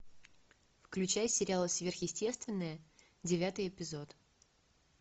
включай сериал сверхъестественное девятый эпизод